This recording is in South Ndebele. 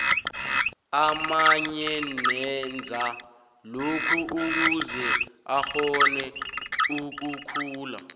amanye enza lokhu ukuze akgone ukukhula